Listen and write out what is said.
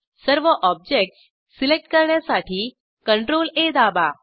सर्व objects select करण्यासाठी CTRLA दाबा